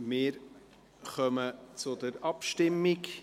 Wir kommen zur Abstimmung.